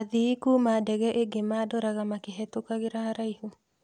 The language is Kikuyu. Athii Kuma ndege ĩngĩ madoraga makĩhetũkagĩra haraihu.